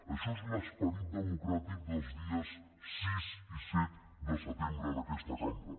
això és l’esperit democràtic dels dies sis i set de setembre en aquesta cambra